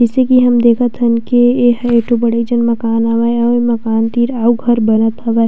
जइसे की हम देखत हन की ए ह एक ठो बड़ेक जन मकान हावे आऊ मकान तीर आऊ घर बनत हावे।